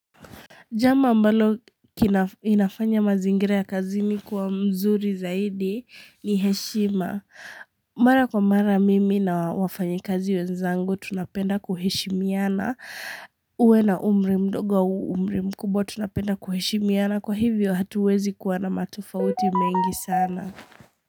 Jambo ambalo inafanya mazingira ya kazini kuwa mzuri zaidi ni heshima. Mara kwa mara mimi na wafanyikazi wenzangu tunapenda kuheshimiana. Uwe na umri mdogo umri mkubwa tunapenda kuheshimiana. Kwa hivyo hatuwezi kuwa na matofauti mengi sana.